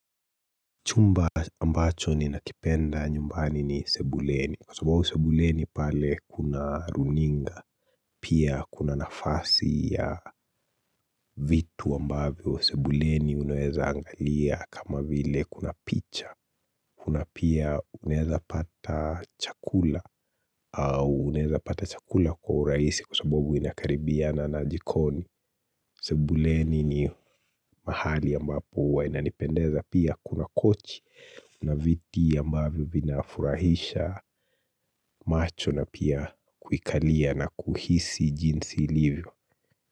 Chumba ambacho ninakipenda nyumbani ni sebuleni. Kwa sababu sebuleni pale kuna runinga. Pia kuna nafasi ya vitu ambavyo. Sebuleni unaweza angalia kama vile kuna picha. Kuna pia unaeza pata chakula au unaeza pata chakula kwa urahisi kwa sababu inakaribiana na jikoni Sebuleni ni mahali ambapo huwa inanipendeza pia kuna kochi kuna viti ambavyo vinafurahisha macho na pia kuikalia na kuhisi jinsi ilivyo.